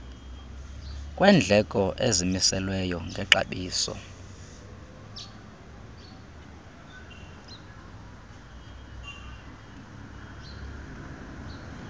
kwendleko ezimiselweyo ngexabiso